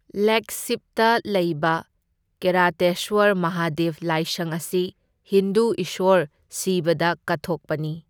ꯂꯦꯒꯁꯤꯞꯇ ꯂꯩꯕ ꯀꯤꯔꯥꯇꯦꯁꯋꯔ ꯃꯍꯥꯗꯦꯕ ꯂꯥꯏꯁꯪ ꯑꯁꯤ ꯍꯤꯟꯗꯨ ꯏꯁꯣꯔ ꯁꯤꯕꯥꯗ ꯀꯠꯊꯣꯛꯄꯅꯤ꯫